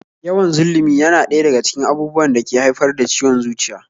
Yawan zullumi yana ɗaya daga cikin abubuwan da ke haifar da ciwon zuciya